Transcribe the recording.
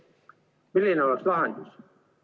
Milline oleks lahendus?